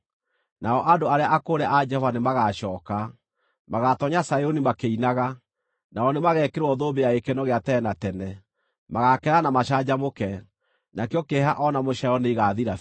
nao andũ arĩa akũũre a Jehova nĩmagacooka. Magaatoonya Zayuni makĩinaga; nao nĩmageekĩrwo thũmbĩ ya gĩkeno gĩa tene na tene. Magaakena na macanjamũke, nakĩo kĩeha o na mũcaayo nĩigathira biũ.